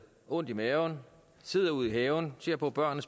ondt i maven sidder ude i haven og ser på børnene